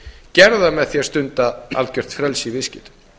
gerðu það með því að stunda algjört frelsi í viðskiptum